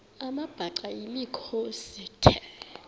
amabhaca yimikhosi the